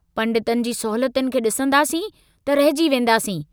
पंडितनि जी सहूलियतुनि खे सिंदासीं त रहिजी वेंदासीं।